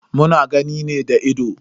Muna gani ne da ido.